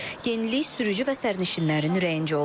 Yenilik sürücü və sərnişinlərin ürəyincə olub.